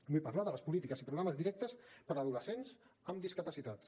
vull parlar de les polítiques i programes directes per a adolescents amb discapacitats